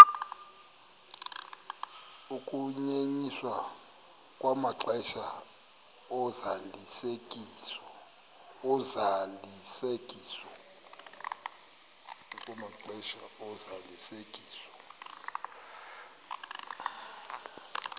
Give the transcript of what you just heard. ukunyenyiswa kwamaxesha ozalisekiso